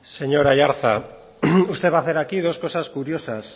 señor aiartza usted va a hacer aquí dos cosas curiosas